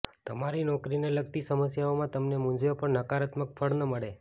તમારી નોકરીને લગતી સમસ્યાઓમાં તમને મુંઝવે પણ નકારાત્મક ફળ ન મળે